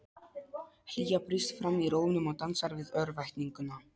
Hlýja brýst fram í rómnum og dansar við örvæntinguna.